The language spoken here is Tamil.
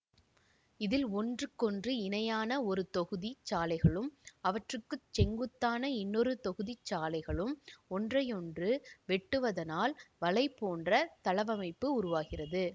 இதில் ஒன்றுக்கொன்று இணையான ஒரு தொகுதி சாலைகளும் அவற்றுக்குச் செங்குத்தான இன்னொரு தொகுதிச் சாலைகளும் ஒன்றையொன்று வெட்டுவதனால் வலை போன்ற தளவமைப்பு உருவாகிறது